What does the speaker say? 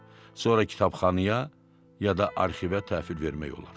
Sonra kitabxanaya ya da arxivə təhvil vermək olar.